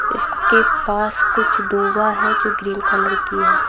इसके पास कुछ दूभा है जो ग्रीन कलर की है।